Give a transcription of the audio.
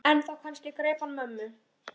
En þá kannski greip hann mömmu